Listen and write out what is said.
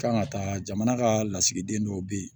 Kan ka taa jamana ka lasigiden dɔw bɛ yen